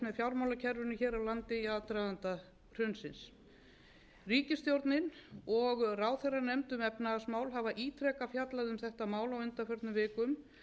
fjármálakerfinu hér á landi í aðdraganda hrunsins ríkisstjórnin og ráðherranefnd um efnahagsmál hafa ítrekað fjallað um þetta mál á undanförnum vikum